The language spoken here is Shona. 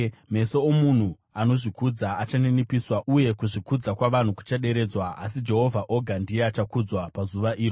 Meso omunhu anozvikudza achaninipiswa, uye kuzvikudza kwavanhu kuchaderedzwa; asi Jehovha oga ndiye achakudzwa pazuva iro.